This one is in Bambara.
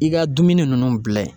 I ga dumuni nunnu bila ye